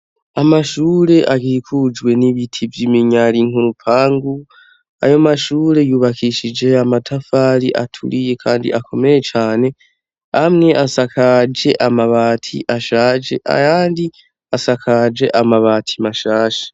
Amashure akikujwe n' ibiti vy' iminyari murupangu ayo mashure yubakishije amatafari aturiye kandi akomeye cane amwe asakaje amabati ashaje ayandi asakaje amabati mashasha.